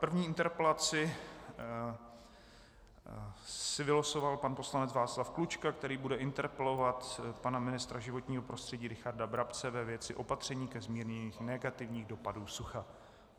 První interpelaci si vylosoval pan poslanec Václav Klučka, který bude interpelovat pana ministra životního prostředí Richarda Brabce ve věci opatření ke zmírnění negativních dopadů sucha.